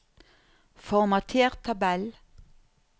Formater tabell